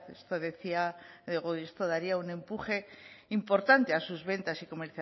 esto daría un empuje importante a sus ventas